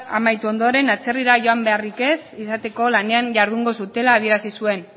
amaitu ondoren atzerrira joan beharrik ez izateko lanean jardungo zutela adierazi zuten